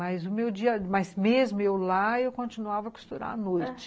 Mas mesmo eu lá, eu continuava a costurar à noite.